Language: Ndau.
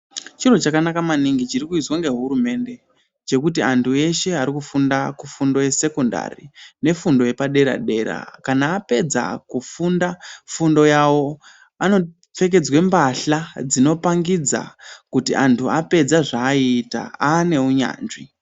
Chiro chakanaka maningi chiri kuizwa nge hurumende chekuti antu eshe ari kufunda ku fundo ye sekondari ne fundo yepa dera dera kana apedza kufunda fundo yavo ano pfekedzwa mbahla dzino pangidza kuti antu apedza zva ayita ane unyanzvi.